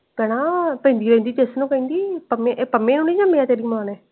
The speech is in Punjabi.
ਪੈਣਾ ਪੇਂਜੀ ਆਂਦੀ ਦਸਣਾ ਕਹਿੰਦੀ ਪੰਮੇ ਨੂੰ ਨੀ ਜੰਮਿਆ ਤੇਰੀ ਮਾਂ ਨੇ।